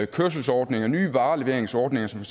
kørselsordninger og nye vareleveringsordninger som